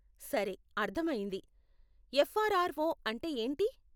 సరే, అర్ధమయింది. ఎఫ్ఆర్ఆర్ఓ అంటే ఏంటి?